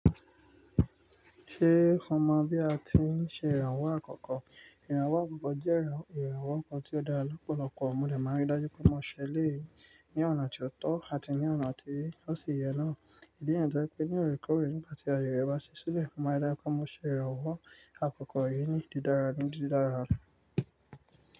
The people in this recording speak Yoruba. Ṣé o mọ̀ bí a ti ń ṣe ìrànwọ́ àkọ́kọ́? Ìrànwọ́ àkọ́kọ́ jẹ́ iran ìrànwọ́ kan tí ó dára lọ́pọ̀lọpọ̀. Mo de ma ri dájú pé mo ṣẹ eleyi ní ọ̀nà tó tọ́ àti ní ọ̀nà tí ó ṣe ìyẹ náà. Ìdí niyen toje pé ní òrèkóòrè nígbà tí àyè rẹ bá ṣí sílẹ̀, máa dá pé mo ṣe ìrànwọ́ àkọ́kọ́ yìí ní dídára ní dídára.